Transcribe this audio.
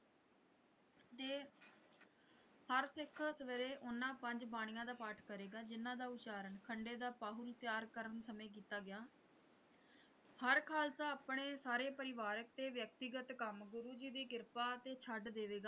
ਹਰ ਸਿੱਖ ਸਵੇਰੇ ਉਹਨਾਂ ਪੰਜ ਬਾਣੀਆਂ ਦਾ ਪਾਠ ਕਰੇਗਾ ਜਿਹਨਾਂ ਦਾ ਉਚਾਰਨ ਖੰਡੇ ਦਾ ਪਾਹੁਲ ਤਿਆਰ ਕਰਨ ਸਮੇਂ ਕੀਤਾ ਗਿਆ ਹਰ ਖ਼ਾਲਸਾ ਆਪਣੇ ਸਾਰੇ ਪਰਿਵਾਰਿਕ ਤੇ ਵਿਅਕਤੀਗਤ ਕੰਮ ਗੁਰੂ ਜੀ ਦੀ ਕ੍ਰਿਪਾ ਤੇ ਛੱਡ ਦੇਵੇਗਾ।